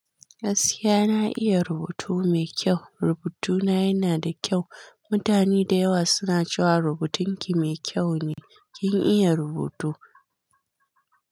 Asiya na iya rubutu mai kyau. Rubutuna yana da kyau. Mutane da yawa suna cewa rubutinki mai kyau ne. Kin iya rubutu.